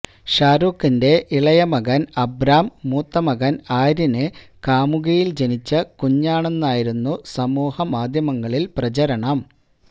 ഷാരൂഖിന്റെ ഇളയ മകന് അബ്രാം മൂത്ത മകന് ആര്യന് കാമുകിയില് ജനിച്ച കുഞ്ഞാണെന്നായിരുന്നു സമൂഹമാധ്യമങ്ങളില് പ്രചരണം